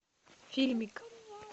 фильмик